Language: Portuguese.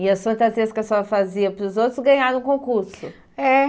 E as fantasias que a senhora fazia para os outros ganharam concurso? É